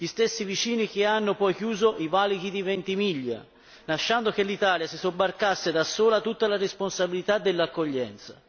gli stessi vicini che hanno poi chiuso i valichi di Ventimiglia, lasciando che l'Italia si sobbarcasse da sola tutta la responsabilità dell'accoglienza.